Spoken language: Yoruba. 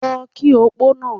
Lọ kí opó náà!